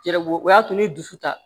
Yɛrɛ ko o y'a to n ye dusu ta